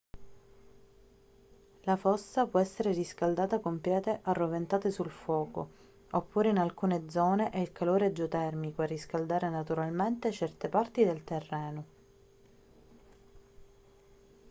la fossa può essere riscaldata con pietre arroventate sul fuoco oppure in alcune zone è il calore geotermico a riscaldare naturalmente certe parti del terreno